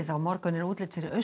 morgun er útlit fyrir